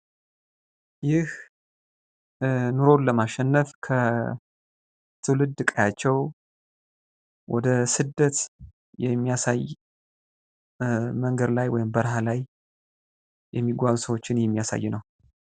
ይህ ኑሮን ለማሸነፍ ከትውልድ ቀያቸው ወደ ስደት የሚያሳይ መንገድ ላይ ወይም በርሃላይ የሚጓዙ ሰዎችን የሚያሳይ ነው።